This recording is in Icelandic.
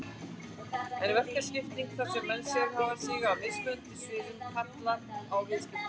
En verkaskipting, þar sem menn sérhæfa sig á mismunandi sviðum, kallar á viðskipti.